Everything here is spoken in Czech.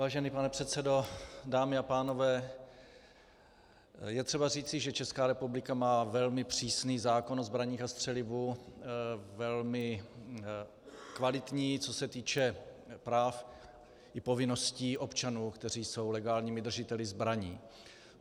Vážený pane předsedo, dámy a pánové, je třeba říci, že Česká republika má velmi přísný zákon o zbraních a střelivu, velmi kvalitní, co se týče práv i povinností občanů, kteří jsou legálními držiteli zbraní.